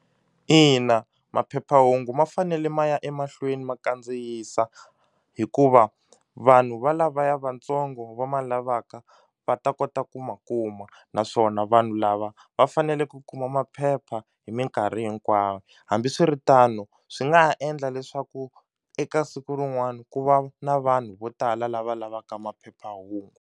Ina, maphephahungu ma fanele ma ya emahlweni ma kandziyisa hikuva vanhu va lavaya vantsongo va ma lavaka va ta kota ku ma kuma naswona va vanhu lava va fanele ku kuma maphepha hi minkarhi hinkwayo hambiswiritano swi nga ha endla leswaku eka siku rin'wani ku va na vanhu vo tala lava lavaka maphephahungu.